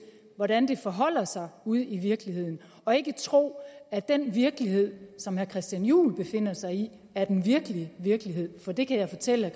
hvordan det forholder sig ude i virkeligheden og ikke tro at den virkelighed som herre christian juhl befinder sig i er den virkelige virkelighed for det kan jeg fortælle